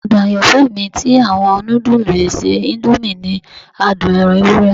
Adun ayanfẹ mi ti awọn nudulu ese indomie ni adun ẹran ewurẹ.